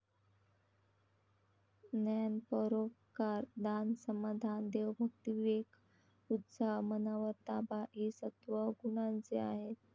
ज्ञान, परोपकार, दान, समाधान, देवभक्ती, विवेक, उत्साह, मनावर ताबा हि सत्त्वगुणांचे आहेत ।